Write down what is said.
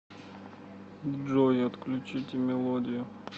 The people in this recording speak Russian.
джой отключите мелодию